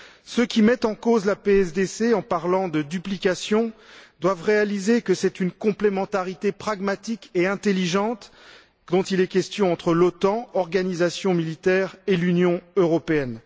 Ceux qui mettent en cause la PSDC, en parlant de duplication, doivent réaliser que c'est une complémentarité pragmatique et intelligente dont il est question entre l'OTAN, organisation militaire, et l'Union européenne.